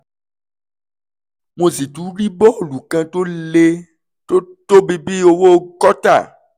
mo sì tún rí bọ́ọ̀lù kan tó le (tó tóbi bí owó kọ́tà)